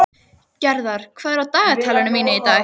Gerðar, hvað er í dagatalinu mínu í dag?